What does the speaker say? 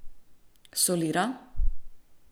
Solira?